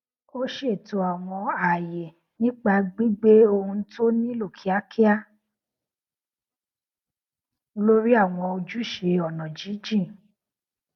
ó ṣètò àwọn ààyè nípa gbígbé ohun tó nílò kíákíá lórí àwọn ojúṣe ọnà jínjìn